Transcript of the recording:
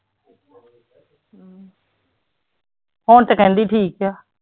ਹੁਣ ਤੇ ਕਹਿੰਦੀ ਠੀਕ ਹੈ।